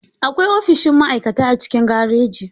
Akwai ofishin ma'aikata a cikin gareji.